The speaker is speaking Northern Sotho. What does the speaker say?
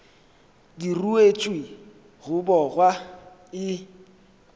di ruetšwe go bogwa e